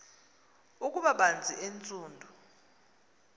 ukuba banzi entsundu